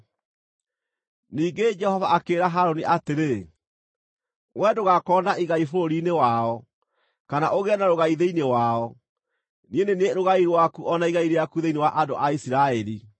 Ningĩ Jehova akĩĩra Harũni atĩrĩ, “Wee ndũgakorwo na igai bũrũri-inĩ wao, kana ũgĩe na rũgai thĩinĩ wao; niĩ nĩ niĩ rũgai rwaku o na igai rĩaku thĩinĩ wa andũ a Isiraeli.